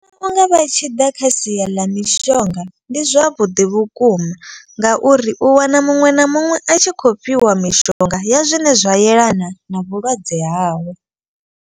Vhunga vha tshi ḓa kha sia ḽa mishonga ndi zwavhuḓi vhukuma. Ngauri u wana muṅwe na muṅwe a tshi khou fhiwa mishonga ya zwine zwa yelana na vhulwadze hawe.